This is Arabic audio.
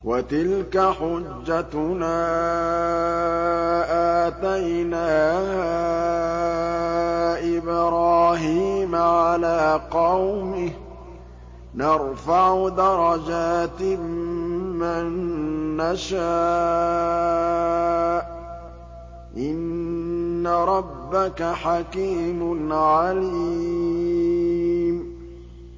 وَتِلْكَ حُجَّتُنَا آتَيْنَاهَا إِبْرَاهِيمَ عَلَىٰ قَوْمِهِ ۚ نَرْفَعُ دَرَجَاتٍ مَّن نَّشَاءُ ۗ إِنَّ رَبَّكَ حَكِيمٌ عَلِيمٌ